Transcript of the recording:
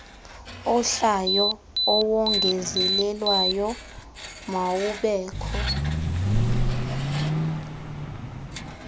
ohlayo owongezelelweyo mawubekho